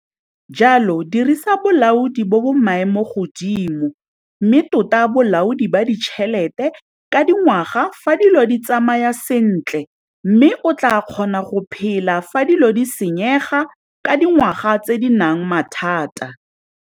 Jalo, dirisa bolaodi bo bo maemo godimo mme tota bolaodi ba ditšhelete ka dingwaga fa dilo di tsamaya sentle mme o tlaa kgona go phela fa dilo di senyega ka dingwaga tse di nang mathata.